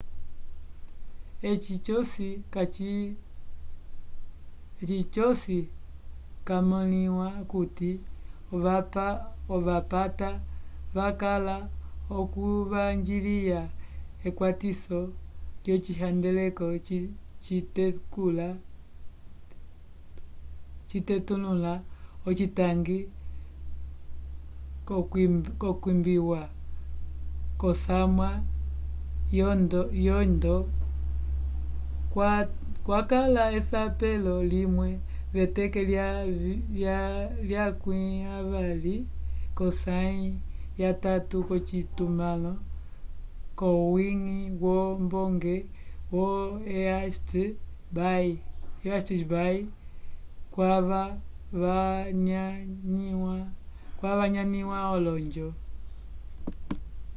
eci cosi camõliwa okuti ovapata vakala l'okuvanjiliya ekwatiso lyocihandeleko citetulula ocitangi c'okwimbiwa k'osamwa yondo kwakala esapelo limwe v'eteke lya 20 k'osãyi yatatu k'ocitumãlo c'owiñgi wombonge yo east bay kwava vanyanĩwa olonjo